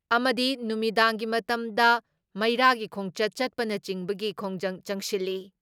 ꯑꯃꯗꯤ ꯅꯨꯃꯤꯗꯥꯡꯒꯤ ꯃꯇꯝꯗ ꯃꯤꯔꯥꯒꯤ ꯈꯣꯡꯆꯠ ꯆꯠꯄꯅꯆꯤꯡꯕꯒꯤ ꯈꯣꯡꯖꯪ ꯆꯪꯁꯤꯜꯂꯤ ꯫